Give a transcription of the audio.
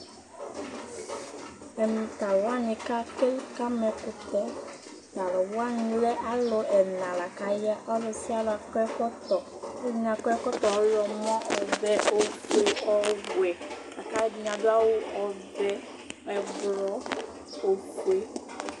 Ɛmɛ t'alʋ wani kati kama ɛkʋtɛ T'alʋ wani alɛ alʋ ɛla la k'aya Ɔlʋ aialʋ akɔ ɛkɔtɔ, ɔlɔdini akɔ ɛkɔtɔ ɔɣlɔmɔ, ɔvɛ , ofue, ɔwɛ, lak'alʋɛdini adʋ awʋ ɔvɛ ɛblɔ, ofue